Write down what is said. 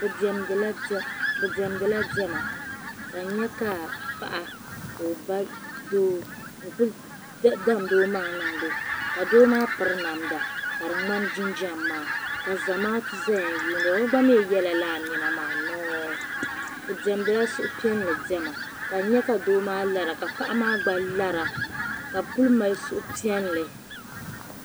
Bidemdila dema ka n nyɛ ka paɣa ka ɔ ba doo n-kuli damdi o maŋa n niŋdo ka doo maa piri namda ka di ŋmani jinjam maa. kzamaatu zaya nlihirɔ, ɔgba mi yela lala nema maa nɔɔ, bidemdila suhi piɛli dema, ka n nyɛ ka doo maa lara ka paɣimaa gba lara kabi kul' mali suhi piɛli.